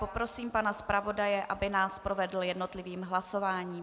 Poprosím pana zpravodaje, aby nás provedl jednotlivým hlasováním.